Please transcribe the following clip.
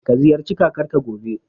Ka ziyarci Kakarka, gobe.